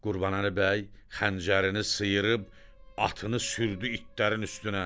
Qurbanəli bəy xəncərini sıyırıb atını sürdü itlərin üstünə.